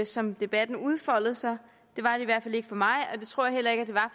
som debatten udfoldede sig det var det i hvert fald ikke for mig